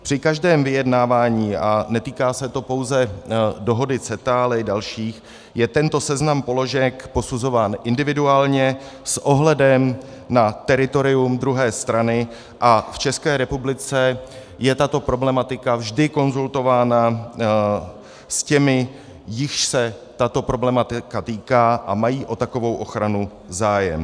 Při každém vyjednávání, a netýká se to pouze dohody CETA, ale i dalších, je tento seznam položek posuzován individuálně s ohledem na teritorium druhé strany a v České republice je tato problematika vždy konzultována s těmi, jichž se tato problematika týká a mají o takovou ochranu zájem.